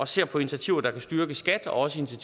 se på initiativer der kan styrke skat og også